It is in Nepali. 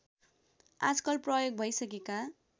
आजकाल प्रयोग भइसकेका